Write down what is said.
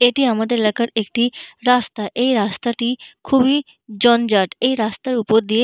এটি আমাদের এলাকার একটি রাস্তা। এই রাস্তাটি খুবই জঞ্জাট। এই রাস্তার উপর দিয়ে--